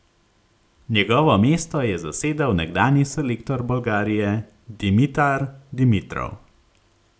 Njegovo mesto je zasedel nekdanji selektor Bolgarije Dimitar Dimitrov.